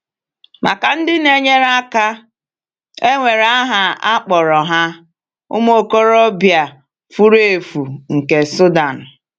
Maka ndị na-enyere aka, e nwere aha a kpọrọ ha — “ụmụ okorobịa furu efu” nke Sudan.